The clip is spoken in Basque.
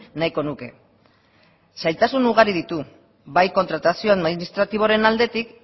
nahiko nuke zailtasun ugari ditu bai kontratazioan administratiboaren aldetik